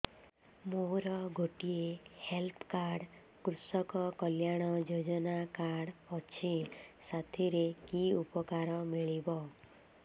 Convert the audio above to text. ମୋର ଗୋଟିଏ health card କୃଷକ କଲ୍ୟାଣ ଯୋଜନା କାର୍ଡ ଅଛି ସାଥିରେ କି ଉପକାର ମିଳିବ